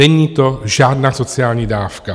Není to žádná sociální dávka!